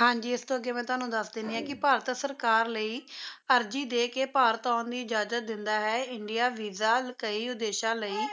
ਹਾਂ ਜੀ ਇਸ ਤੋਂ ਅੱਗੇ ਮੈਂ ਤੁਹਾਨੂੰ ਦੱਸ ਦਿੰਦੀ ਹਾਂ, ਕਿ ਭਾਰਤ ਸਰਕਾਰ ਲਈ ਅਰਜ਼ੀ ਦੇ ਕੇ ਭਾਰਤ ਆਉਣ ਦੀ ਇਜ਼ਾਜ਼ਤ ਦਿੰਦਾ ਹੈ Indian VISA ਕਈ ਉੱਦੇਸ਼ਾਂ ਲਈ